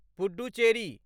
Puducherry